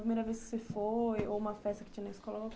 A primeira vez que você foi, ou uma festa que tinha na escola.